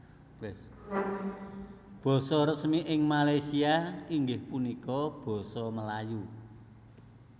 Basa resmi ing Malaysia inggih punika Basa Melayu